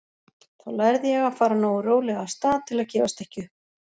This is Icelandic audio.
Þá lærði ég að fara nógu rólega af stað til að gefast ekki upp.